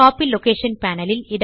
copy location panel ல்